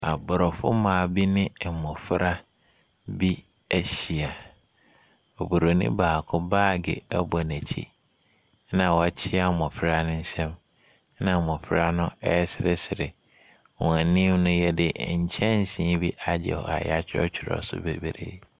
Aborɔfo mmaa bi ne abɔfra bi ahyia . Obroni baako baage ɛbɔ nakyi na wakyea mmɔfra ne nsɛm na mmɔfra no ɛɛsresre. Wanim no, yɛde nkyɛseebi agye hɔ a yatworɔtworɔ so bebree.